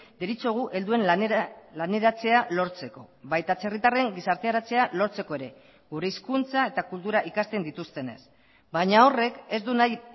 deritzogu helduen laneratzea lortzeko baita atzerritarren gizarteratzea lortzeko ere gure hizkuntza eta kultura ikasten dituztenez baina horrek ez du nahi